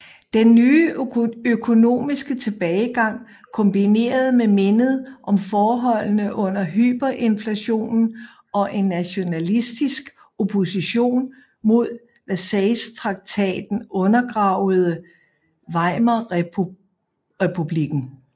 Den nye økonomiske tilbagegang kombineret med mindet om forholdene under hyperinflationen og en nationalistisk opposition mod Versaillestraktaten undergravede Weimarrepublikken